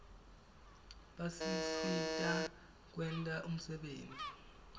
basisita kwenta umsebenti